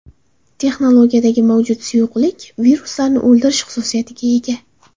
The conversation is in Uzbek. Texnologiyadagi mavjud suyuqlik viruslarni o‘ldirish xususiyatiga ega.